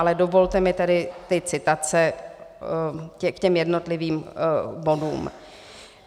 Ale dovolte mi tedy ty citace k těm jednotlivým bodům.